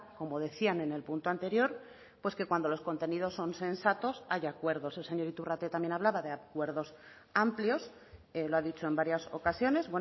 como decían en el punto anterior pues que cuando los contenidos son sensatos hay acuerdos el señor iturrate también hablaba de acuerdos amplios lo ha dicho en varias ocasiones